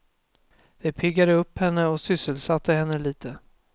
Det piggade upp henne och sysselsatte henne litet.